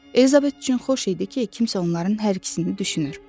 Elizabet üçün xoş idi ki, kimsə onların hər ikisini düşünür.